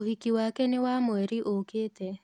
ũhiki wake nĩ wa mweri ũkĩte.